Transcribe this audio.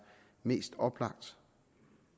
mest oplagt